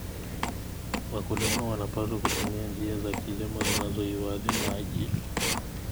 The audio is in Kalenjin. Wakulima wanapaswa kutumia njia za kilimo zinazohifadhi maji.